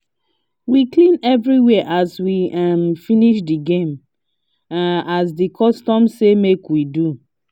we clean everywhere as we um finish the game um as the custom say make we do